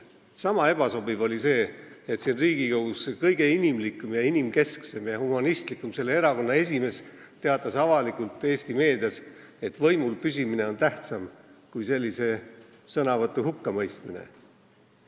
Sama ebasobiv oli see, et selle kõige inimlikuma, inimkesksema ja humanistlikuma erakonna esimees siin Riigikogus teatas avalikult Eesti meedias, et võimul püsimine on tähtsam kui sellise sõnavõtu hukkamõistmine.